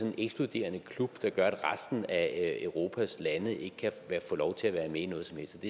en ekskluderende klub der gør at resten af europas lande ikke kan få lov til at være med i noget som helst